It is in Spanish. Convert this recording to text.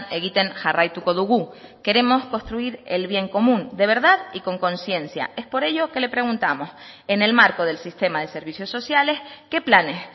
egiten jarraituko dugu queremos construir el bien común de verdad y con conciencia es por ello que le preguntamos en el marco del sistema de servicios sociales qué planes